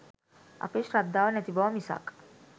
අපේ ශ්‍රද්ධාව නැති බව මිසක්